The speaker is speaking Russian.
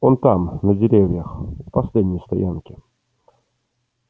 он там на деревьях у последней стоянки